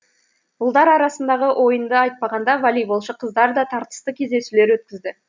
ұлдар арасындағы ойынды айтпағанда волейболшы қыздар да тартысты кездесулер өткізді